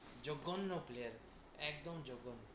জঘন্য player, একদম জঘন্য।